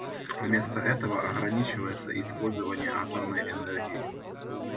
вместо этого ограничивается использование атомной энергии